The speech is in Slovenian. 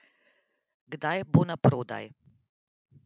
Kdaj bo na prodaj?